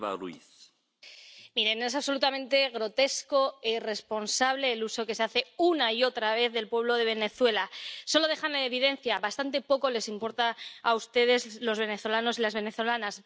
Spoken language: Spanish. Señor presidente, miren, es absolutamente grotesco e irresponsable el uso que se hace, una y otra vez, del pueblo de Venezuela. Solo les deja en evidencia —bastante poco les importan a ustedes los venezolanos y las venezolanas—.